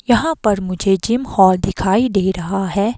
यहां पर मुझे जिम हॉल दिखाई दे रहा है।